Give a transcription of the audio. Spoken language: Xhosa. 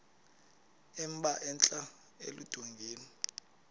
emba entla eludongeni